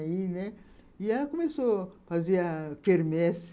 E aí, né, ela começou a fazer a quermesse.